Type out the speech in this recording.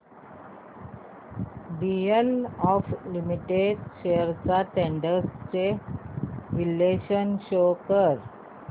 DLF limited shares trends चे विश्लेषण show कर